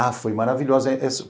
Ah, foi maravilhosa.